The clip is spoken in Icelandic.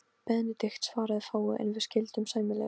Tekið utan um hann og leitt hann í rúmið.